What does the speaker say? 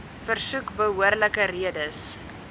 versoek behoorlike redes